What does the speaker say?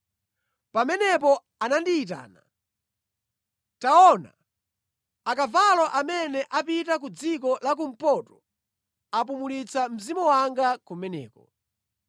Pamenepo anandiyitana, “Taona, akavalo amene apita ku dziko la kumpoto apumulitsa Mzimu wanga kumeneko.”